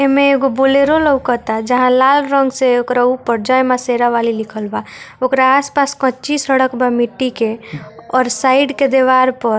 एमए एगो बोलेरो लोकता जहाँ लाल रंग से एकरा ऊपर जय माँ शेरावाली लिखल बा ओकरा आस-पास कच्ची सड़क बा मिट्टी के और साइड के देवार पर --